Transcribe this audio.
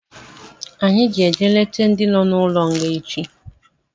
Anyị ga-eje leta ndị nọ n'ụlọ nga echi